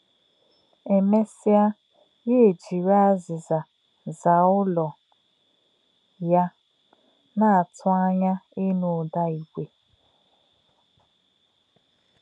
È mè̄sí̄à̄, yá̄ èjìrì̄ àzí̄zà̄ zà̄à̄ ùlò̄ yá̄, nā̄-àtù̄ ànyá̄ ínụ̀ ụ́dá̄ ígwè̄.